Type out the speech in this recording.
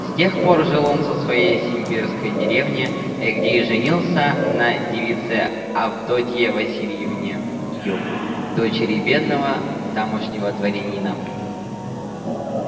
с тех пор жил он в своей симбирской деревне где и женился на девице авдотье васильевне ю дочери бедного тамошнего дворянина